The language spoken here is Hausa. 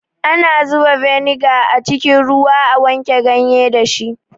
Ana zuba beniga a cikin ruwa a wanke ganye dashi